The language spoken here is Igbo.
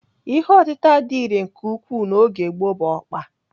Ihe otịta dị irè nke ukwuu n'oge gboo bụ ọkpa.